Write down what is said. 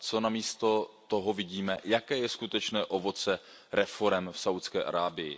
A co namísto toho vidíme? Jaké je skutečné ovoce reforem v Saudské Arábii?